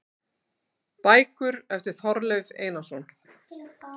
Bækur eftir Þorleif Einarsson